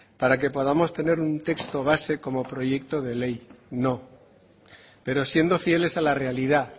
para que podamos tener un texto base como proyecto de ley no pero siendo fieles a la realidad